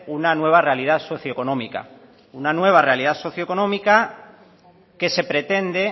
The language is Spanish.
una nueva realidad socioeconómica una nueva realidad socioeconómica que se pretende